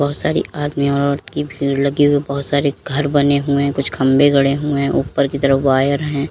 सारी आदमी और औरत की भीड़ लगी हुई बहुत सारे घर बने हुएं कुछ खंबे गड़े हुएं उपर की तरफ वायर हैं।